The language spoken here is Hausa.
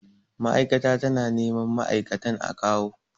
Mai'aikata ta na neman ma'aikatan a kawu